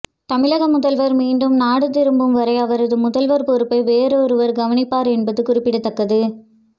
தமிழக முதல்வர் மீண்டும் நாடு திரும்பும் வரை அவரது முதல்வர் பொறுப்பை வேறொருவர் கவனிப்பார் என்பது குறிப்பிடத்தக்கது